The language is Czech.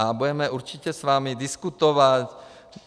A budeme určitě s vámi diskutovat.